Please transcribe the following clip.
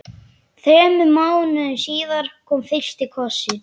Þremur mánuðum síðar kom fyrsti kossinn.